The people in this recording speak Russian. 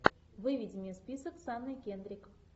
выведи мне список с анной кендрик